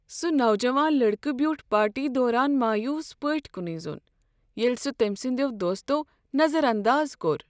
سُہ نوجوان لڑکہٕ بیوٗٹھ پارٹی دوران مایوٗس پٲٹھۍ کُنُے زوٚن ییلہِ سہ تمۍ سٕنٛدیو دوستو نظر انداز کوٚر۔